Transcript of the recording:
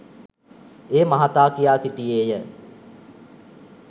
ඒ මහතා කියා සිටියේය